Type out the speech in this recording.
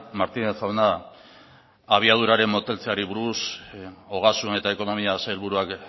martínez jauna abiaduraren moteltzeari buruz ogasun eta ekonomia sailburuak